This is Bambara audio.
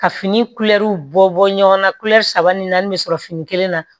Ka fini bɔ bɔ ɲɔgɔn na saba ni naani bɛ sɔrɔ fini kelen na